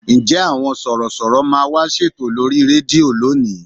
Ǹjẹ́ àwọn Sọ̀rọ̀ṣọ̀rọ̀ máa wá ṣètò lórí rédíò lónìí?